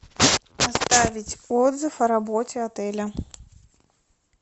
оставить отзыв о работе отеля